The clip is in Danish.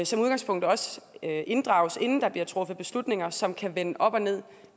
som udgangspunkt også inddrages inden der bliver truffet beslutninger som kan vende op og ned